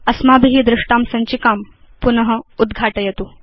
अस्माभि दृष्टां सञ्चिकां पुन उद्घाटयतु